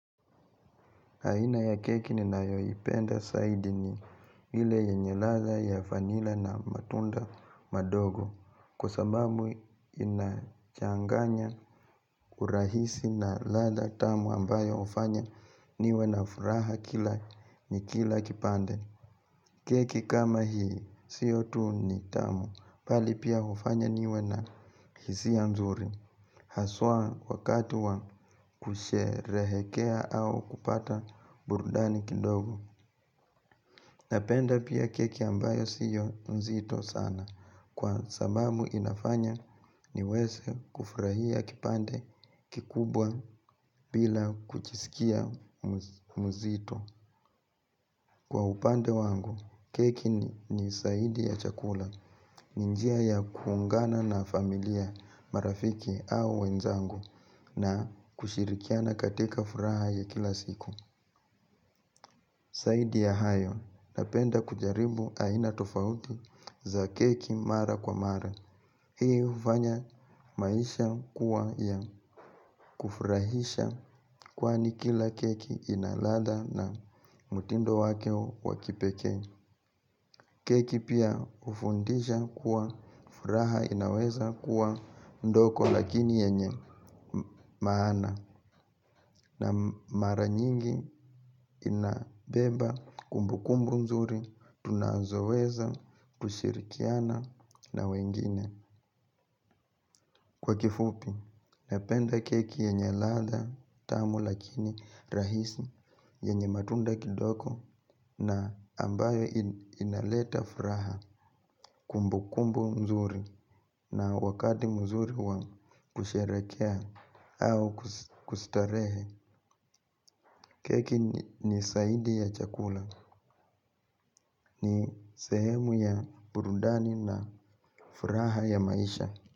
Aina ya keki ni nayoipenda zaidi ni ile yenye ladha ya vanila na matunda madogo. Kwa sababu inachanganya urahisi na ladha tamu ambayo hufanya niwe na furaha kila nikila kipande. Keki kama hii sio tu ni tamu bali pia hufanya niwe na hisia mzuri. Haswa wakati wa kusherehekea au kupata burudani kidogo. Napenda pia keki ambayo sio mzito sana. Kwa sababu inafanya niweze kufurahia kipande kikubwa bila kujisikia mzito. Kwa upande wangu, keki ni zaidi ya chakula. Ni njia ya kuungana na familia marafiki au wenzangu. Na kushirikiana katika furaha ya kila siku. Zaidi ya hayo napenda kujaribu aina tofauti za keki mara kwa mara. Hii hufanya maisha kuwa ya kufurahisha kwani kila keki ina ladha na mutindo wake wa kipekee. Keki pia hufundisha kuwa furaha inaweza kuwa ndogo lakini yenye maana. Na mara nyingi inabeba kumbukumbu mzuri tunazoweza kushirikiana na wengine. Kwa kifupi, napenda keki yenye ladha tamu lakini rahisi yenye matunda kidogo na ambayo inaleta furaha kumbukumbu mzuri. Na wakati mzuri wa kusherehekea au kustarehe. Keki ni zaidi ya chakula. Ni sehemu ya burudani na furaha ya maisha.